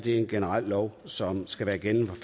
en generel lov som skal være gældende fra